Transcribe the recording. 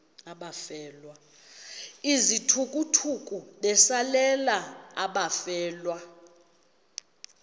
izithukuthuku besalela abafelwa